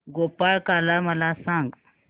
गोपाळकाला मला सांग